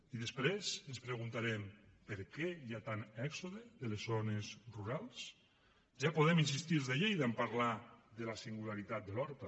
i després ens preguntarem per què hi ha tant èxode de les zones rurals ja podem insistir els de lleida en parlar de la singularitat de l’horta